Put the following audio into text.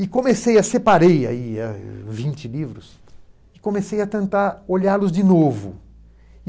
E comecei a separei ai a vinte livros e comecei a tentar olhá-los de novo.